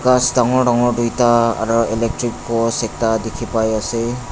ghas dangor dangor duita aro electric post ekta dikhi pai ase.